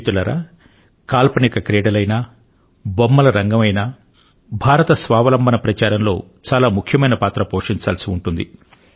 మిత్రులారా కాల్పనిక క్రీడలయినా బొమ్మల రంగం అయినా ఆత్మనిర్భర్ భారత్ అభియాన్ లో చాలా ముఖ్యమైన పాత్ర పోషించవలసి ఉంటుంది